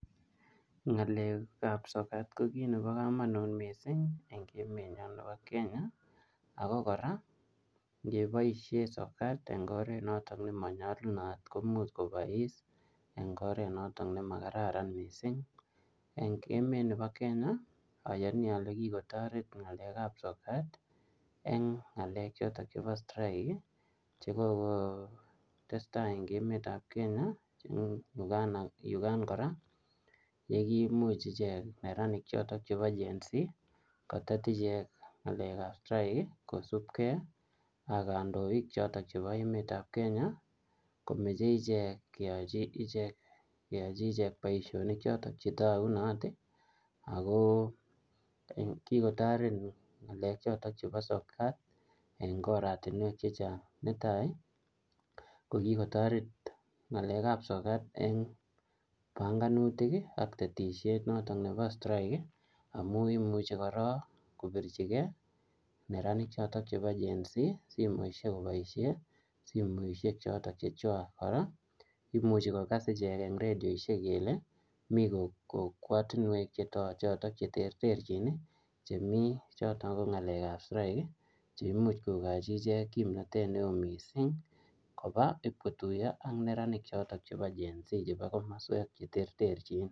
Ng'alek ab sokat ko kit nebo kamanut missing' en emenyon nebo Kenya, ako kora ingeboisien sokat en oret noton nemonyolunot komuch kobois en oren nemakararan missing', en emet nibo Kenya oyoni ole kikotoret ng'alek ab sokat en ng'alek choton chebo strike ii ko tesetai en emet ab Kenya yukan kora yekimuch ichek neranik choton chebo Genz kotet ichek ng'alek ab strike kosibke ak kondoik choton chebo emet ab Kenya komache ichek keyoche ichek boisionik choton chetogunot ii ako kikotoret ngalechoton chebo sokat en oratinuek chechang',netai ko kikotoret ng'alek ab sokat en panganutik ak tetisiet noton nebo strike ii amun imuchi kora kopichigen neranik choton chebo Genz simoisiek koboisien simoisiek choton chechwak, kora imuche kokas ichek en radioisiek kele mi kokwatinuek choton cheterterchin ii chemi choton ko ng'alek ab strike ii cheimuch kokochi ichek kimnotet neo missing koba ib kotuyo ak neranik choton chebo Genz chebo komoswek choton cheterterchin.